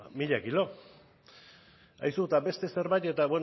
mila kilo aizu eta beste zerbait bueno